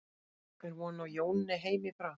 En er von á Jóni heim í bráð?